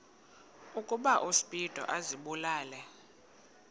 ukuba uspido azibulale